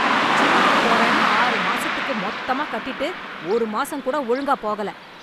ஜிம்முக்கு போறேன்னு, ஆறு மாசத்துக்கு மொத்தமா கட்டிட்டு, ஒரு மாசம்கூட ஒழுங்கா போகல..